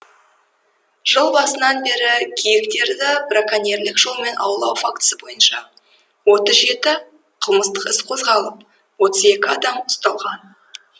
жыл басынан бері киіктерді браконьерлік жолмен аулау фактісі бойынша отыз жеті қылмыстық іс қозғалып отыз екі адам ұсталған